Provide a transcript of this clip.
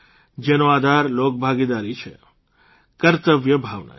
જેનો આધાર લોકભાગીદારી છે કર્તવ્ય ભાવના છે